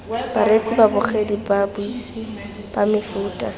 bareetsi babogedi babuisi ba mefuta